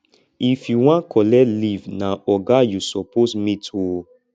if you wan collect leave na oga you suppose meet o